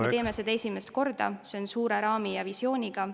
Me teeme seda esimest korda, see on suure raami ja visiooniga.